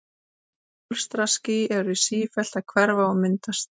Bólstraský eru sífellt að hverfa og myndast.